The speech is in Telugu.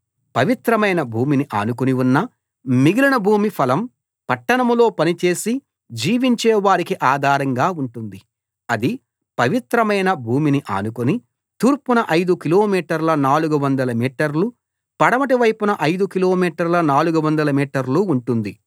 పవిత్రమైన భూమిని ఆనుకుని ఉన్న మిగిలిన భూమి ఫలం పట్టణంలో పనిచేసి జీవించే వారికి ఆధారంగా ఉంటుంది అది పవిత్రమైన భూమిని ఆనుకుని తూర్పున ఐదు కిలోమీటర్ల 400 మీటర్లు పడమటి వైపున ఐదు కిలోమీటర్ల 400 మీటర్ల ఉంటుంది